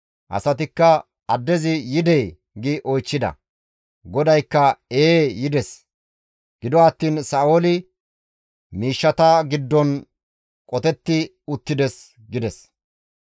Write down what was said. Asatikka, «Addezi yidee?» gi oychchida; GODAYKKA, «Ee, yides; gido attiin Sa7ooli miishshata giddon qotetti uttides» gides.